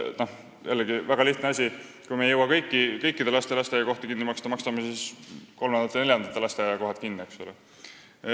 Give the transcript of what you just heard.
Jällegi, väga lihtne: kui me ei jõua kõikide laste lasteaiakohti kinni maksta, maksame siis kinni kolmandate-neljandate laste lasteaiakohad.